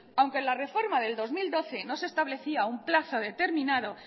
aunque en la reforma del dos mil doce no se establecía un plazo determinado